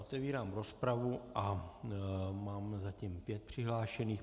Otevírám rozpravu a mám zatím pět přihlášených.